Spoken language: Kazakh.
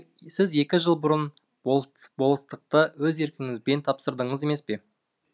сіз екі жыл бұрын болыстықты өз еркіңізбен тапсырдыңыз емес пе